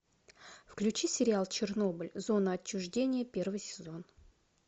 включи сериал чернобыль зона отчуждения первый сезон